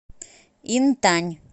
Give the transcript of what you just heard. интань